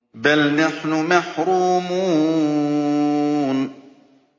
بَلْ نَحْنُ مَحْرُومُونَ